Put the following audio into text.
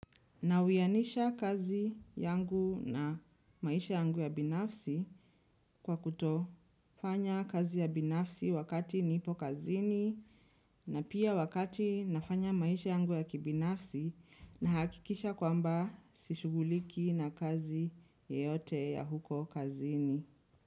Na uyanisha kazi yangu na maisha yangu ya binafsi kwa kuto nafanya kazi ya binafsi wakati nipo kazini na pia wakati nafanya maisha yangu ya kibinafsi. Nahakikisha kwamba si shughuli na kazi yoyote ya huko kazini.